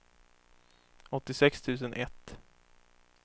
åttiosex tusen ett